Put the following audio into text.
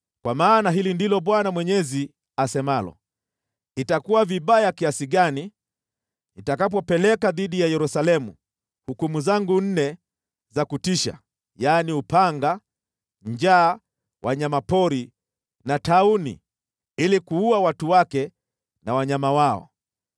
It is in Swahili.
“Kwa maana hili ndilo Bwana Mwenyezi asemalo: Itakuwa vibaya kiasi gani nitakapopeleka dhidi ya Yerusalemu hukumu zangu nne za kutisha, yaani, upanga, njaa, wanyama pori na tauni, ili kuua watu wake na wanyama wao!